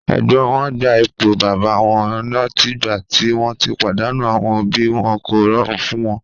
Ẹ̀gbọ́n wọn gba ipò bàbá wọn látìgbà tí wọ́n ti pàdánù àwọn òbí wọn, kò rọrùn fún un.